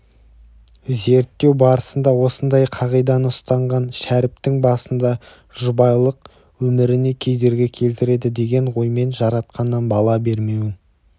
зерттеу барысында осындай қағиданы ұстанған бшәріптің басында жұбайлық өміріне кедергі келтіреді деген оймен жаратқаннан бала бермеуін